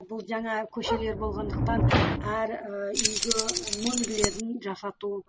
бұл жаңа көшелер болғандықтан әр ііі үйге нөмірлерін жасату